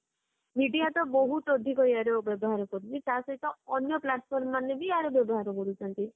video ତ ବହୁତ ଅଧିକ ଏହାର ବ୍ୟବହାର କରୁନି ତା ସହିତ ଅନ୍ୟ platform ମାନେ ବି ୟାର ବ୍ୟବହାର କରୁଛନ୍ତି